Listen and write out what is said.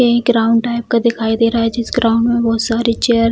ये एक ground type का दिखाई दे रहा है जिस ग्राउंड में बहुत सारे चेयर --